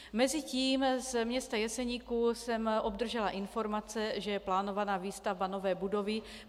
Mezitím z města Jeseníku jsem obdržela informace, že je plánovaná výstavba nové budovy.